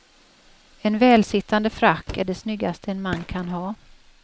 En välsittande frack är det snyggaste en man kan ha.